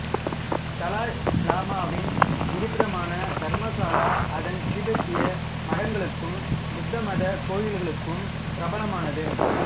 தலாய் லாமாவின் இருப்பிடமான தர்மசாலா அதன் திபெத்திய மடங்களுக்கும் புத்தமதக் கோயில்களுக்கும் பிரபலமானது